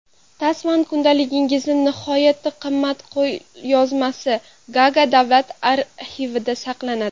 Tasman kundaligining nihoyatda qimmatli qo‘lyozmasi Gaaga davlat arxivida saqlanadi.